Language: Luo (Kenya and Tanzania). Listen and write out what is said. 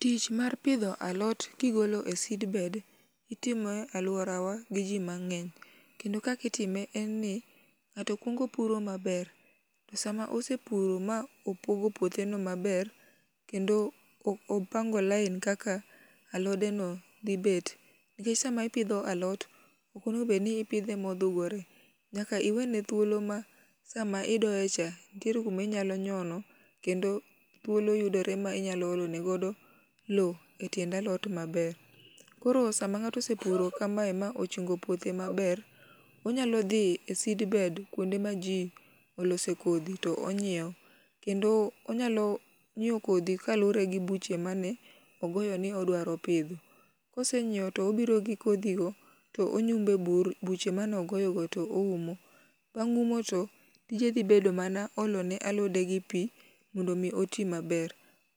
Tich mar pidho alot kigolo e seedbed itime e aluorawa gi jii mang'eny kendo kakitime en ni ng'ato kuongo puro maber . To sama osepuro ma opogo puothe no maber kendo o opango lain kaka alode no dhi bet nikech sama ipidho alot ok onego bed ni ipidhe modhugore. Nyaka iwene thuolo ma sama idoye cha ntiere kumi nyalo nyono kendo thuolo yudore ma nyalo olone godo loo e tiend alot maber. Koro sama ng'ato osepuro maber kamae ma ochungo puothe maber onyalo dhi e seedbed kuonde ma jii olose kodhi to onyiewo kendo onyalo nyiewo kodhi kaluwore gi buche mane ogoyo ni idwaro pidhi kosenyiewo tobiro gi kodhi go tonyume bur buche manogoyo go toumo. Bang' umo to tije dhi bedo mana olo ne alode gi pii mondo mii oti maber.